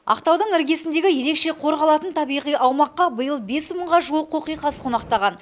ақтаудың іргесіндегі ерекше қорғалатын табиғи аумаққа биыл бес мыңға жуық қоқиқаз қонақтаған